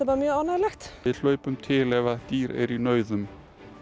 bara mjög ánægjulegt við hlaupum til ef að dýr eru í nauðum